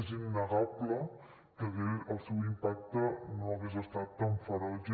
és innegable que el seu impacte no hagués estat tan ferotge